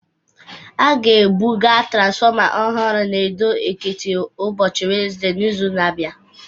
A ga-ebuga transformer ọhụrụ n'Ado-Ekiti ụbọchị Wenezde n'izu na-abịa